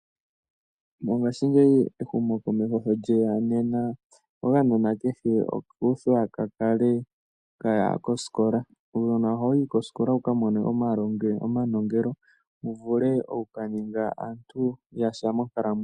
Mongashingeyi ehumokomeho sho lyeya okanona kehe oku udhwa kakale kaya kosikola. Uunona ohawu yi kosikola wika mone omanongelo. Wu vule oku ka ninga aantu yasha monkalamwenyo.